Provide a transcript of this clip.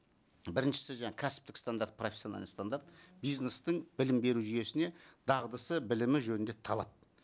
біріншісі жаңа кәсіптік стандарт профессиональный стандарт бизнестің білім беру жүйесіне дағдысы білімі жөнінде талап